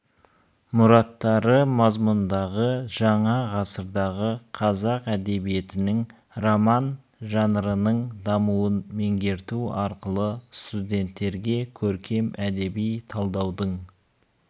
мұраттары мазмұнындағы жаңа ғасырдағы қазақ әдебиетінің роман жанрының дамуын меңгерту арқылы студенттерге көркем әдеби талдаудың